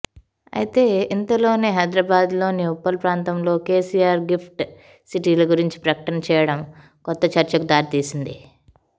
అయితే ఇంతలోనే హైదరాబాద్లోని ఉప్పల్ ప్రాంతంలో కెసిఆర్ గిఫ్ట్ సిటీల గురించి ప్రకటన చేయడం కొత్త చర్చకు దారి తీసింది